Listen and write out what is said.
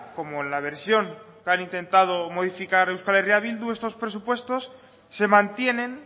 como la versión que han intentado modificar euskal herria bildu estos presupuestos se mantienen